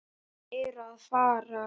Þeir eru að fara.